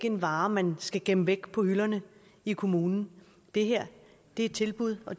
en vare man skal gemme væk på hylderne i kommunen det her er et tilbud og